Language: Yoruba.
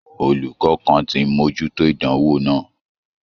Olùkọ kàn tí n mojuto ìdánwò náà.